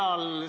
Aitäh!